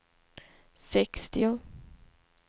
sextio